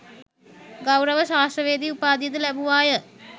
ගෞරව ශාස්ත්‍රවේදි උපාධියද ලැබුවාය.